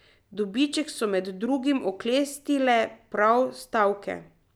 Dobiček so med drugim oklestile prav stavke.